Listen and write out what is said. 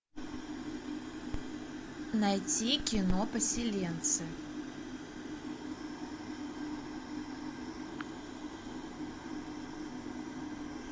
найти кино поселенцы